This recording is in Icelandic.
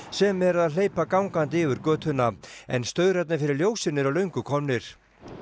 sem eru að hleypa gangandi yfir götuna en staurarnir fyrir ljósin eru löngu komnir